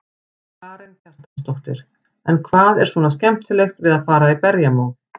Karen Kjartansdóttir: En hvað er svona skemmtilegt við að fara í berjamó?